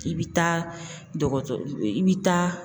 I bi taa dɔgɔtɔrɔ i bi taa